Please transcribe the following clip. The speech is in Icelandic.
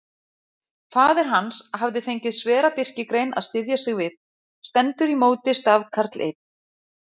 Faðir hans hafði fengið svera birkigrein að styðja sig við: stendur í móti stafkarl einn.